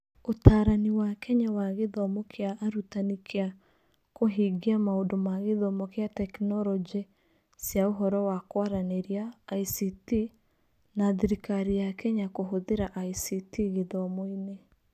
Ũtaarani wa Kenya wa gĩthomo kĩa arutani kĩa kũhingia maũndũ ma gĩthomo kĩa tekinoronjĩ cia ũhoro wa kũaranĩrĩa (ICT) na Thirikari ya Kenya kũhũthĩra ICT gĩthomo-inĩ.